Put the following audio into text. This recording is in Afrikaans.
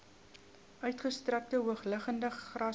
uitgestrekte hoogliggende grasvelde